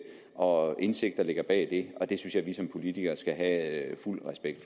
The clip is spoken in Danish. og indsigt der ligger bag det og det synes jeg vi som politikere skal have fuld respekt